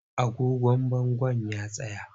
Agogon bangon ya tsaya.